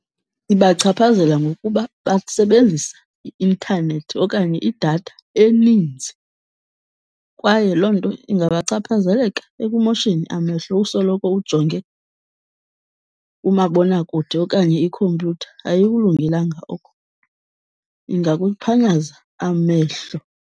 Ibachaphazela ngokuba basebenzisa i-intanethi okanye idatha eninzi. Kwaye loo nto ingabachaphazeleka ekumosheni amehlo, usoloko ujonge umabonakude okanye ikhompyutha, ayikulungelanga oko, ingakuphanyaza amehlo.